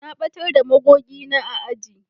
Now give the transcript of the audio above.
Na batar da magogi na a aji